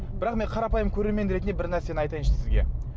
бірақ мен қарапайым көрермен ретінде бір нәрсені айтайыншы сізге